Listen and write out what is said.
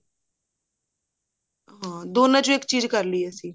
ਹਾਂ ਦੋਨਾ ਚੋਂ ਇੱਕ ਚੀਜ਼ ਕਰਲੀ ਅਸੀਂ